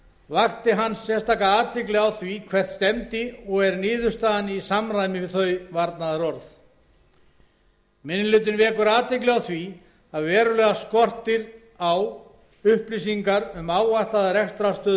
vakti hann sérstaka athygli á því hvert stefndi og er niðurstaðan í samræmi við þau varnaðarorð minni hlutinn vekur athygli á því að verulega skortir á upplýsingar um áætlaða rekstrarstöðu